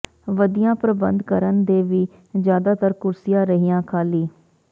ਵਧੀਆਂ ਪ੍ਰਬੰਧ ਕਰਨ ਦੇ ਵੀ ਜਿਆਦਾਤਰ ਕੁਰਸੀਆ ਰਹੀਆ ਖਾਲੀ